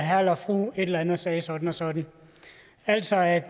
herre eller fru et eller andet sagde sådan og sådan altså at